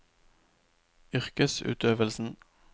yrkesutøvelsen